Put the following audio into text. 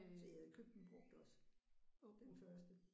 Så I havde købt den brugt også den første?